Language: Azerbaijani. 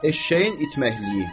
Eşşəyin itməyi.